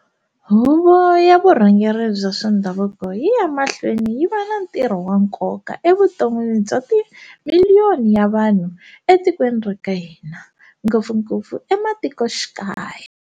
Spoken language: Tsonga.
Huvo ya vurhangeri bya swa ndhavuko yi ya emahlweni yi va na ntirho wa nkoka evuton'wini bya ti miliyoni ya vanhu etikweni ra ka hina, ngopfungopfu ematikoxikaya.